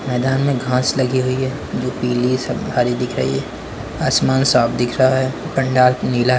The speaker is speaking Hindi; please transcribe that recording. मैदान में घास लगी हुई है जो पीली सब भारी दिख रही है। आसमान साफ दिख रहा है। पंडाल नीला--